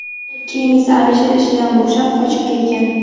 Keyin esa Alisher ishidan bo‘shab, qochib ketgan.